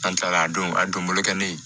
An taara a don a donbolo kɛ ne